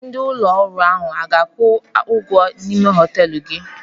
Ndị ụlọ ọrụ ahụ ọ ga-akwụ ụgwọ ime ụlọ họtelụ gị?